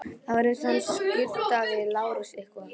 Það var ekki eins og hann skuldaði Lárusi eitthvað.